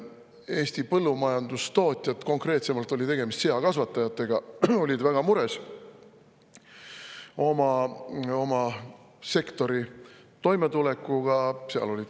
Eesti põllumajandustootjad, konkreetselt seakasvatajad, olid väga mures oma sektori toimetuleku pärast.